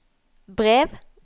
brev